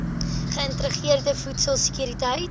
geïntegreerde voedsel sekuriteit